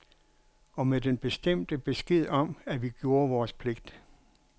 Og med den bestemte besked om, at vi gjorde vores pligt.